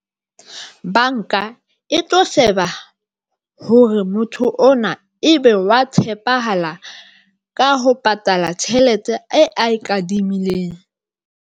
Banka e tlo sheba hore motho ona ebe wa tshepahala ka ho patala tjhelete e a kadimileng.